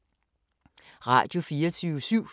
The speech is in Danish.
Radio24syv